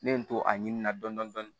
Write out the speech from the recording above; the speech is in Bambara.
Ne ye n to a ɲini na dɔɔnin dɔɔnin